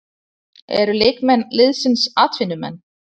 Eru leikmenn liðsins atvinnumenn?